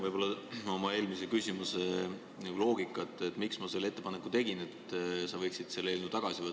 Ma jätkan oma eelmise küsimuse teemal, miks ma tegin ettepaneku, et sa võiksid selle eelnõu tagasi võtta.